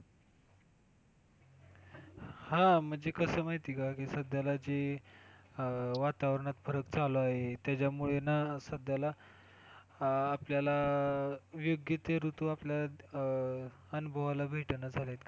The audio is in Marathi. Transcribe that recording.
हा म्हणजे कस माहितीये का की सध्याला जे अं वातावरणात फरक चालू आहे त्यामुळे ना सध्याला आपल्याला अं योग्य ते ऋतू आपल्याला अं अनुभवाला भेटेना झालेत.